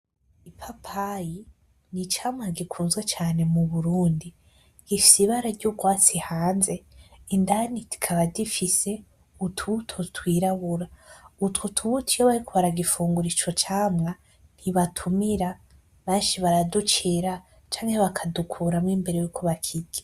Ipapayi n,icamwa gikunzwe cane mu Burundi gifise ibara ryurwatsi hanze indani kikaba gifise utubuto twirabura utwo tubutomiyo bariko baragifungura ico camwa ntibatumira benshi baraducira canke bakadukuramwo mbere yuko bakirya.